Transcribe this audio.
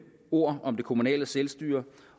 ord om det kommunale selvstyre